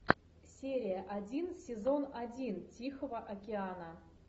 серия один сезон один тихого океана